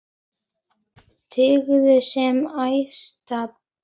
Tign sem æðsta ber.